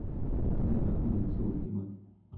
где находится оптима